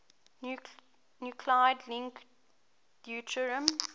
nuclide link deuterium